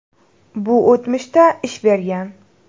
Bu o‘tmishda ish bergan.